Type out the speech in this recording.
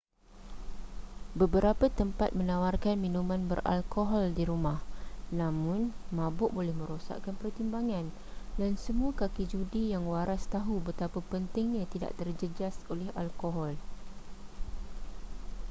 beberapa tempat menawarkan minuman beralkohol di rumah namun mabuk boleh merosakkan pertimbangan dan semua kaki judi yang waras tahu betapa pentingnya tidak terjejas oleh alkohol